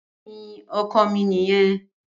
Bẹẹni oko ,mi niyen.